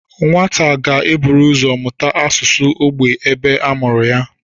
Nwata ga-eburu ụzọ mụta asụsụ ógbè ebe a mụrụ ya